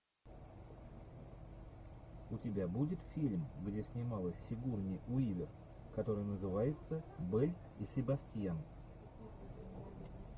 у тебя будет фильм где снималась сигурни уивер который называется белль и себастьян